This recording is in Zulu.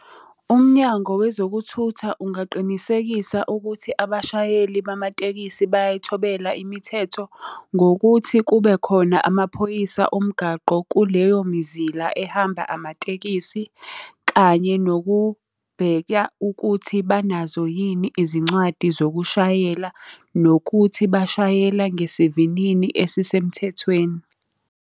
UMnyango Wezokuthutha ungaqinisekisa ukuthi abashayeli bamatekisi bayayithobela imithetho ngokuthi kube khona amaphoyisa omgaqo kuleyomizila ehamba amatekisthi, kanye nokubheka ukuthi banazo yini izincwadi zokushayela, nokuthi bashayela ngesivinini esisemthethweni.